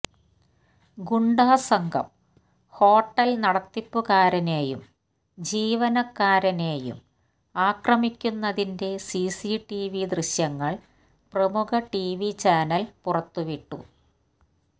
ഗുണ്ടാസംഘം hotel നടത്തിപ്പുകാരനേയും ജീവനക്കാരനേയും ആക്രമിക്കുന്നതിന്റെ സിസിടിവി ദൃശ്യങ്ങള് പ്രമുഖ ടിവി ചാനല് പുറത്തുവിട്ടു